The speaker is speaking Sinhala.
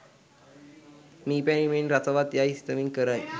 මී පැණි මෙන් රසවත් යයි සිතමින් කරයි